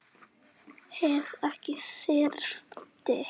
Ef ég þyrfti.